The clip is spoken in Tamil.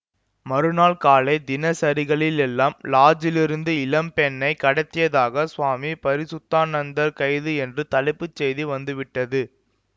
மறுநாள் காலை தினசரிகளில் எல்லாம் லாட்ஜிலிருந்து இளம் பெண்ணை கடத்தியதாகச் சுவாமி பரிசுத்தானந்தர் கைது என்று தலைப்புச் செய்து வந்து விட்டது